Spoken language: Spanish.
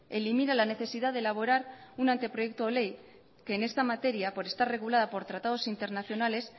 elimina la necesidad de elaborar un anteproyecto de ley que en esta materia por estar regulada por tratados internaciones